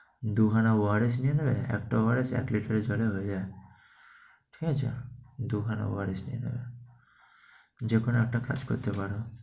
দুখানা ওয়ারিশ নিয়ে নেবে, একটা ওয়ারিশ এক liter জলে ভেজাবে, ঠিক আছে? দুখানা ওয়ারিশ নিয়ে নেবে। যেকোনো একটা কাজ করতে পারো।